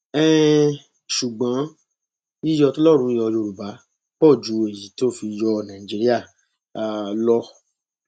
um ṣùgbọn yíyọ tọlọrun yọ yorùbá pọ ju èyí tó fi yọ nàìjíríà um lọ